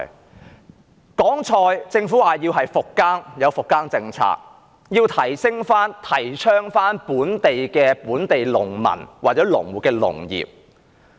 說到蔬菜，政府說要復耕，並制訂復耕政策，提倡振興本地農民或農戶的農業。